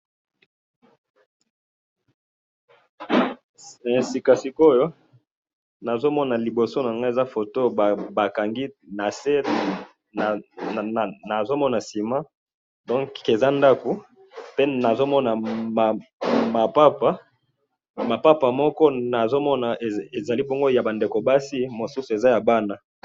Sika sikoyo, nazo mona liboso na nga eza photo ba kangi na se, nazo mona ciment, donc eza ndaku, pe nazo mona mapapa, mapapa moko nazo mona ezali bongo ya ba ndeko basi, mosusu eza ya bana.